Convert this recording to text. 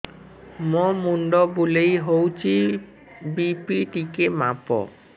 ମୋ ମୁଣ୍ଡ ବୁଲେଇ ହଉଚି ବି.ପି ଟିକେ ମାପ